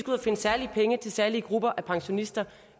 at finde særlige penge til særlige grupper af pensionister